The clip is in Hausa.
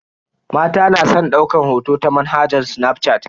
Mata na san daukan hoto da manhajar snafshat.